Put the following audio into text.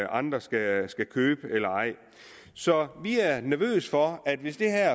andre skal skal købe eller ej så vi er nervøse for at hvis der